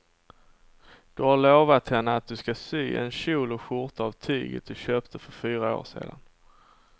Du har lovat henne att du ska sy en kjol och skjorta av tyget du köpte för fyra år sedan.